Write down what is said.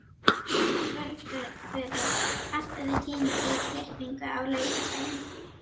Svörfuður, pantaðu tíma í klippingu á laugardaginn.